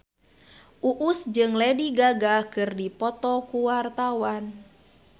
Uus jeung Lady Gaga keur dipoto ku wartawan